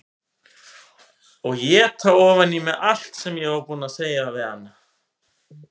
Og éta ofan í mig allt sem ég var búin að segja við hana.